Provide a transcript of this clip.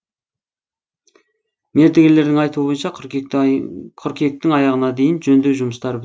мердігерлердің айтуы бойынша қыркүйектің аяғына дейін жөндеу жұмыстары